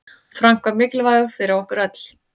Frank var mikilvægur fyrir okkur.